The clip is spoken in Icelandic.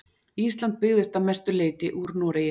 Ísland byggðist að mestu leyti úr Noregi.